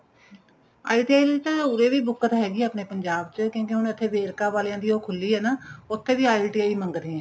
ITI ਵਿੱਚ ਤਾਂ ਉਰੇ ਬਹੁਤ ਹੈਗੀ ਏ ਆਪਣੇ ਪੰਜਾਬ ਚ ਕਹਿੰਦੇ ਆਪਣੇ verka ਵਾਲਿਆਂ ਦੀ ਉਹ ਖੁੱਲੀ ਏ ਨਾ ਉੱਥੇ ਵੀ ITI ਮੰਗਦੇ ਏ